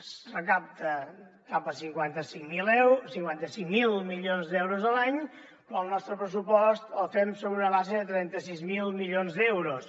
es recapten cap a cinquanta cinc mil milions d’euros l’any però el nostre pressupost el fem sobre una base de trenta sis mil milions d’euros